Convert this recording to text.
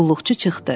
Qulluqçu çıxdı.